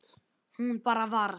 Hún bara varð.